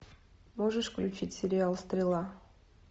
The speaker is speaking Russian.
можешь включить сериал стрела